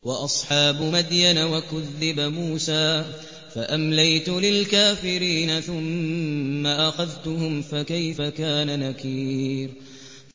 وَأَصْحَابُ مَدْيَنَ ۖ وَكُذِّبَ مُوسَىٰ فَأَمْلَيْتُ لِلْكَافِرِينَ ثُمَّ أَخَذْتُهُمْ ۖ فَكَيْفَ كَانَ نَكِيرِ